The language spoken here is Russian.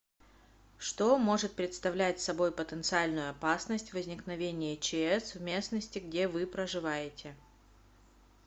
что может представлять собой потенциальную опасность возникновения чс в местности где вы проживаете